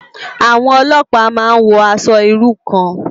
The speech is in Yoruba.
Awòn òlòpá má n wò ãṣò irú kàn